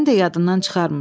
Mən də yadından çıxarmır.